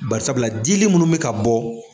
Barisabula dili munnu bɛ ka bɔ.